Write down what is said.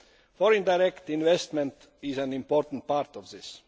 Foreign direct investment is an important part of this.